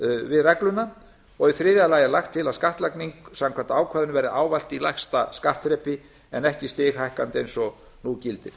við regluna og í þriðja lagi er lagt til að skattlagning samkvæmt ákvæðinu verði ávallt í lægsta skattþrepi en ekki stighækkandi eins og nú gildir